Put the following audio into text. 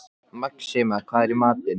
Maxima, hvað er í matinn?